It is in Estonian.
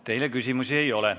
Teile küsimusi ei ole.